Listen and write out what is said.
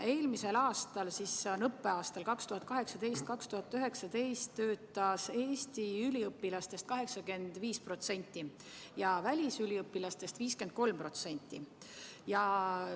Eelmisel aastal, s.o õppeaastal 2018/2019, töötas Eestist pärit üliõpilastest 85% ja välisüliõpilastest 53%.